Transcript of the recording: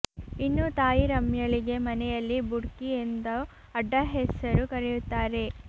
ಇನ್ನು ತಾಯಿ ರಮ್ಯಳಿಗೆ ಮನೆಯಲ್ಲಿ ಬುಡ್ಕಿ ಎಂದು ಅಡ್ಡ ಹೆಸರು ಕರೆಯುತ್ತಾರೆ